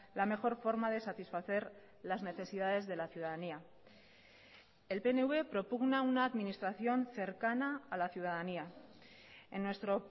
la mejor forma de satisfacer las necesidades de la ciudadanía el pnv propugna una administración cercana a la ciudadanía en nuestro